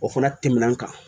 O fana tɛmɛn'an kan